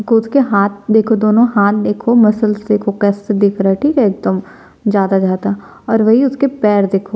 उसके हाथ देखो दोनों हाथ देखो मस्सल्स देखो कैसे दिख रहा है ठीक है एकदम ज्यादा-ज्यादा और वही उसके पैर देखो--